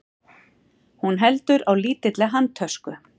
Hún heldur á lítilli handtösku.